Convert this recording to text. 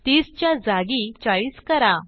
30 च्या जागी 40 करा